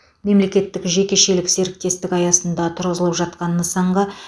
мемлекеттік жекешелік серіктестік аясында тұрғызылып жатқан нысанға